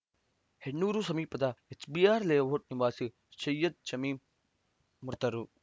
ಹೆಣ್ಣೂರು ಸಮೀಪದ HBR layout ನಿವಾಸಿ ಸೈಯದ್‌ ಶಮೀಮ್‌ ಮೃತರು